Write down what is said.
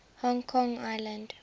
hong kong island